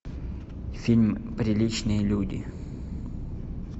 фильм приличные люди